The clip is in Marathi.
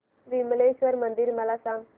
विमलेश्वर मंदिर मला सांग